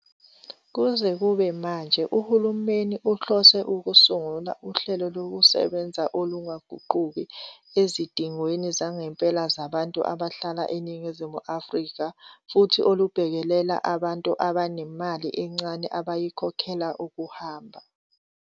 Kuze kube manje, uhulumeni uhlose ukusungula uhlelokusebenza olungaguquki ezidingweni zangempela zabantu abahlala eNingizimu Afrika futhi olubhekelela abantu abanemali encane abayikhokhela ukuhamba.